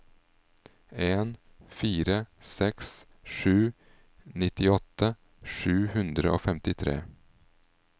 en fire seks sju nittiåtte sju hundre og femtitre